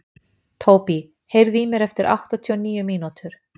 Tóbý, heyrðu í mér eftir áttatíu og níu mínútur.